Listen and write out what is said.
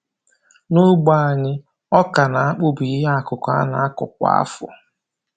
N'ogbe anyị, ọka na akpụ bụ ihe akụkụ a na-akụ kwa afọ